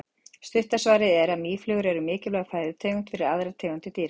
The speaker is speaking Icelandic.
stutta svarið er að mýflugur eru mikilvæg fæðutegund fyrir aðrar tegundir dýra